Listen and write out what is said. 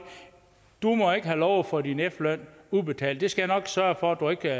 du må ikke have lov til at få din efterløn udbetalt det skal jeg nok sørge for du ikke